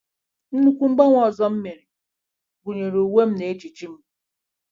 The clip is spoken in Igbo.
Nnukwu mgbanwe ọzọ m mere gụnyere uwe m na ejiji m.